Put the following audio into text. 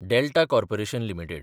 Delta corporation limited